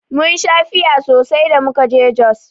Mun sha fiya sosai da muka je Jos.